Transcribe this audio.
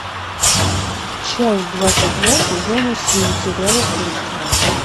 часть двадцать два сезона семь сериала кости